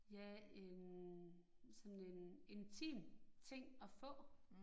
Ja en, sådan en intim ting at få